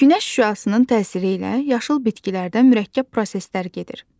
Günəş şüasının təsiri ilə yaşıl bitkilərdə mürəkkəb proseslər gedir.